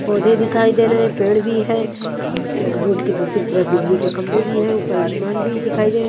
पौधे दिखाई दे रहे हैं पेड़ भी हैं अह रोड की दूसरी तरफ बिजली के खंभे भी हैं ऊपर आसमान भी दिखाई दे रहा--